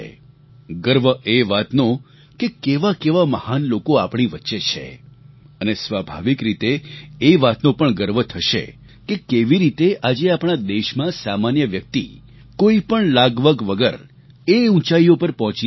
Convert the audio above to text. ગર્વ એ વાતનો કે કેવાકેવા મહાન લોકો આપણી વચ્ચે છે અને સ્વાભાવિક રીતે એ વાતનો પણ ગર્વ થશે કે કેવી રીતે આજે આપણા દેશમાં સામાન્ય વ્યક્તિ કોઈપણ લાગવગ વગર એ ઊંચાઈઓ પર પહોંચી રહ્યા છે